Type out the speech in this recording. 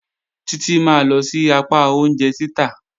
Títí máa lọ sí apá oúnjẹ títà.